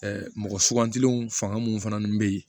mɔgɔ sugantilenw fanga mun fana be yen